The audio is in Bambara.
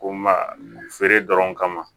Ko ma feere dɔrɔn kama